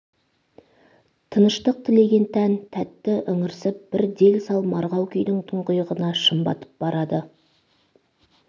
тыныштық тілеген тән тәтті ыңырсып бір дел-сал марғау күйдің тұңғиығына шым батып барады